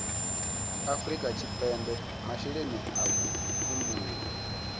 afrika tshipembe masheleni a vhutumbuli